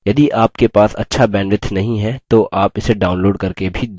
यदि आपके पास अच्छा bandwidth नहीं है तो आप इसे download करके भी देख सकते हैं